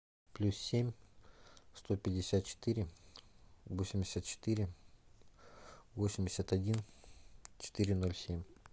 плюс семь сто пятьдесят четыре восемьдесят четыре восемьдесят один четыре ноль семь